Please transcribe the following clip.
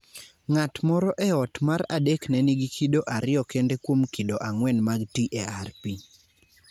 Ng'at moro e ot mar adek ne nigi kido 2 kende kuom kido 4 mag TARP.